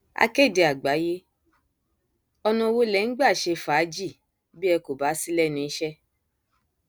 akéde àgbáyé ọnà wo lẹ ń gbà ṣe fàájì bí ẹ kò bá sí lẹnu iṣẹ